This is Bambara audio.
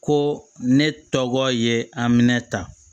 Ko ne tɔgɔ ye aminɛn ta